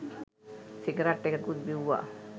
cigarette එකකුත් බිව්ව